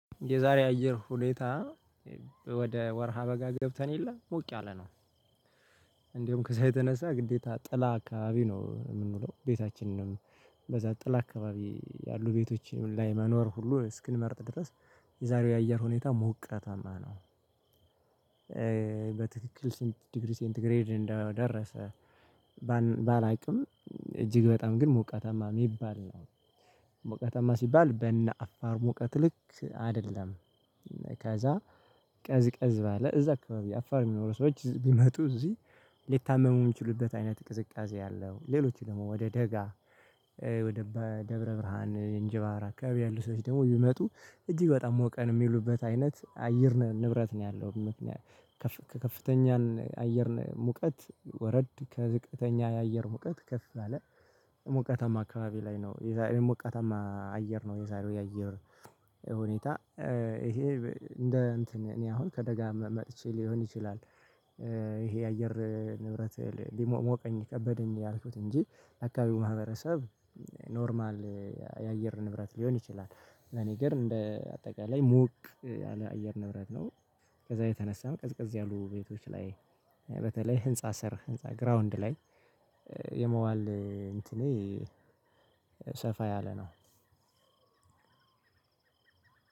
የዛሬ አየር ሁኔታ ወደ ወርሃ በጋ ገብተን የለም ሞቅ ያለ ነው። እንደውም ከዛ የተነሳ ግዴታ ጥላ አካባቢ ነው የምንውለው ቤታችንንም በዛ ጥላ አካባቢ ያሉ ቤቶች ላይ መኖር ሁሉ እስክንመርጥ ድረስ የዛሬው የአየር ሁኔታ ሞቀታማ ነው። በትክክል ስንት ዲግሪ ሴንት ግሬድ እንደደረሰ? ባላቅም እጅግ በጣም ግን ሞቃታማ የሚባል ነው። ሞቃታማ ሲባል በነ አፋር ሙቀት ልክ አይደለም። ከዛ ቀዝቀዝ ባለ እዛ አካባቢ አፋር የሚኖሩ ሰዎች ቢመጡ እዚህ ሊታመሙ የሚችሉበት አይነት ቅዝቃዜ ያለው ሌሎች ደግሞ ወደ ደጋ ወደ ደብረ ብርሃን እንጅብራ አከባቢ ያሉ ሰዎች ደግሞ ቢመጡ እጅግ በጣም ሞቀን የሚሉበት አይነት አየር ንብረት ነው ያለው። ከፍተኛን አየር ሙቀት ወረድ ከዝቅተኛ የአየር ሙቀት ከፍ ያለ። ሞቃታማ አካባቢ ላይ ነው ሞቃታማ አየር ነው የዛሬው የአየር ሁኔታ ይሄ እንደ እንትን እኔ አሁን ከደጋም መጥቼ ሊሆን ይችላል። ይሄ የአየር ንብረት ሊሞቅ ሞቀኝ ከበደኝ ያልኩት እንጂ አካባቢው ማህበረሰብ ኖርማል የአየር ንብረት ሊሆን ይችላል። ለኔ ግን እንደ አጠቃላይ ሞቅ ያለ አየር ንብረት ነው። ከዛ የተነሳም ቀዝቀዝ ያሉ ቤቶች ላይ በተለይ ህንፃ ስር ህንፃ ግራውንድ ላይ የመዋል እንትኔ ሰፋ ያለ ነው።